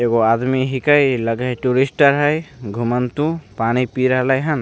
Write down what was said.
एगो आदमी हिकै इ लगे हई टूरिस्टर हई घुमन्तु पानी पी रहले हैन।